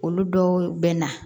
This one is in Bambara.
Olu dɔw bɛ na